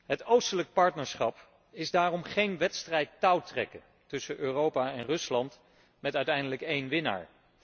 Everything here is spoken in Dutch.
Het oostelijk partnerschap is daarom geen wedstrijd touwtrekken tussen Europa en Rusland met uiteindelijk één winnaar.